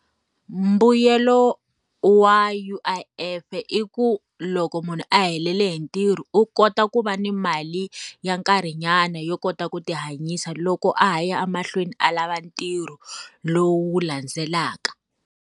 Mbuyelo wa U_I_F i ku loko munhu a helele hi ntirho u kota ku va ni mali, ya nkarhi nyana yo kota ku ti hanyisa loko a ha ya emahlweni a lava ntirho lowu landzelaka.